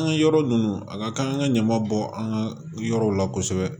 An ka yɔrɔ ninnu a ka kan an ka ɲama bɔ an ka yɔrɔw la kosɛbɛ